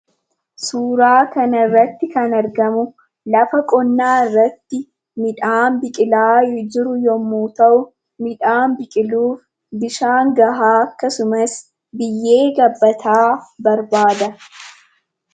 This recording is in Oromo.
Suuraa kanarratti kan argamu lafa qonnaa irratti midhaan biqilaa jiru yemmuu ta'u, midhaan biqilu bishaan gahaa akkasumas biyyee gabbataa barbaada.